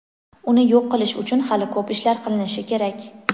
uni yo‘q qilish uchun hali ko‘p ishlar qilinishi kerak.